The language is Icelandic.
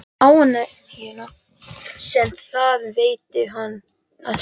Um ánægjuna sem það veitti henni að sjá húsið.